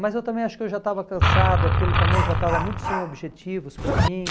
Mas eu também acho que eu já estava cansado, aquilo também já estava muito sem objetivos para mim.